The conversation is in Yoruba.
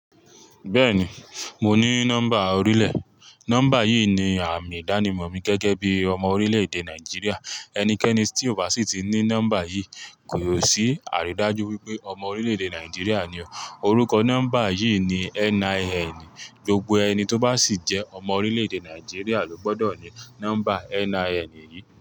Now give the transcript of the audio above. Bẹ́ẹ̀ni, mo ní nọ́mbà orílẹ̀. Nọ́mbà yìí ni àmì ìdánimọ̀ mi gẹ́gẹ́ bí ọmọ orílẹ̀-èdè Nàìjíríà. Ẹnikẹ́ni tí ó bá sì ti ní nọ́mbà yìí kò sí àrídájú wípé ọmọ orílẹ̀-èdè Nàìjíríà ni ó. Orúkọ nọ́mbà yìí ni NIN. Gbogbo ẹni to ba si je ọmọ orílẹ̀ èdè niajiria ni o gbọdọ ni nọ́mbà NINyii.